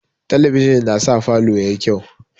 Talabijin na sa falo yayi kyau